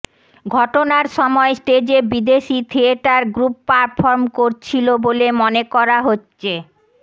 ঘটনার সময় স্টেজে বিদেশি থিয়েটার গ্রুপ পারফর্ম করছিলো বলে মনে করা হচ্ছে